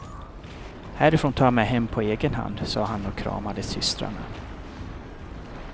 Härifrån tar jag mig hem på egen hand, sa han och kramade systrarna.